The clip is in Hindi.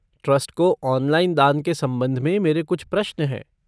ट्रस्ट को ऑनलाइन दान के संबंध में मेरे कुछ प्रश्न हैं।